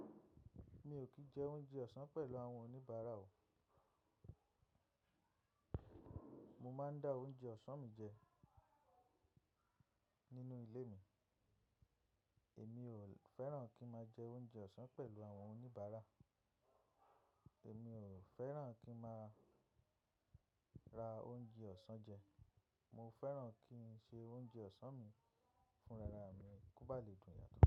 Mi ò kìí jẹ oúnjẹ ọ̀sán pẹ̀lú àwọn oníbàárà o. Mo máa ń dá oúnjẹ ọ̀sán mi jẹ nínú ilé mi. Èmi ò fẹ́ràn kí n máa jẹ oúnjẹ ọ̀sán pẹ̀lú àwọn oníbàárà. Èmi ò fẹ́ràn kí n máa ra oúnjẹ ọ̀sán jẹ. Mo feran ki se o ounje osan mi funra mi. Kó bá lè dúń yáto.